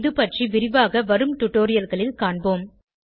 இது பற்றி விரிவாக வரும் டுடோரியல்களில் காண்போம்